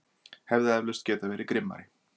Hefði eflaust getað verið grimmari.